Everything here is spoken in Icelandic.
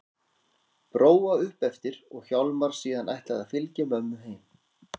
Bróa upp eftir og Hjálmar síðan ætlað að fylgja mömmu heim.